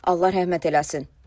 Allah rəhmət eləsin.